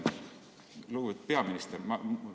Lugupeetud peaminister!